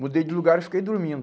Mudei de lugar e fiquei dormindo.